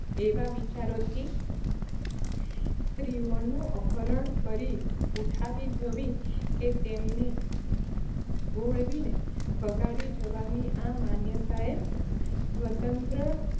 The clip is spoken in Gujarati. એવા વિચારો થી સ્ત્રીઓનું અપહરણ કરી ઉઠાવી જવી, કે તેમને ભોળવીને ભગાડી જવાની આ માન્યતાએ સ્વતંત્ર